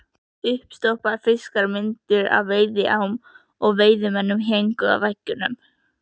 Uppstoppaðir fiskar, myndir af veiðiám og veiðimönnum héngu á veggjunum.